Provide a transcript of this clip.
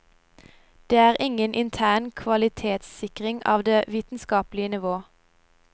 Det er ingen intern kvalitetssikring av det vitenskapelige nivå.